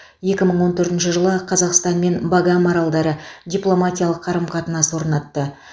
екі мың он төртінші жылы қазақстан мен багам аралдары дипломатиялық қарым қатынас орнатты